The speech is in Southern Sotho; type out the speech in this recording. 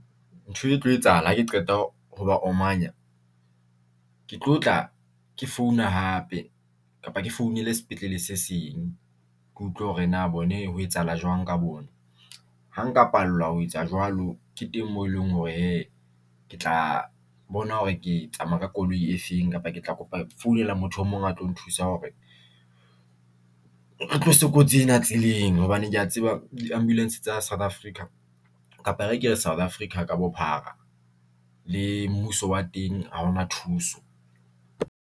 Ntho e tlo etsahala hake qeta ho ba omanya. Ke tlo tla ke founa hape, kapa ke founele sepetlele se seng ke utlwe hore na bone ho etsahala jwang ka bona. Ha nka pallwa ho etsa jwalo ke teng mo eleng hore hee ke tla bona hore ke tsamaya ka koloi e feng kapa ke tla kopa founela motho o mong a tlo nthusa hore re tlose kotsi ena tseleng, hobane ke ya tseba di-ambulance tsa South Africa, kapa e re ke re South Africa ka bophara le mmuso wa teng haona thuso.